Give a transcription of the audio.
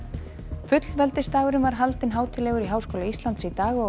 fullveldisdagurinn var haldinn hátíðlegur í Háskóla Íslands í dag og